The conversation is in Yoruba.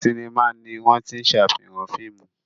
Sinimá ni wọ́n tí ń ṣàfihàn fíìmù